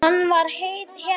Hann var hetja.